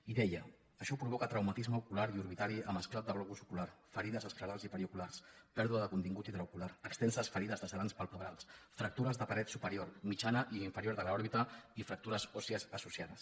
i deia això provoca traumatisme ocular i orbitari amb esclat de globus ocular ferides esclerals i perioculars pèrdua de contingut intraocular extenses ferides lacerants palpebrals fractures de paret superior mitjana i inferior de l’òrbita i fractures òssies associades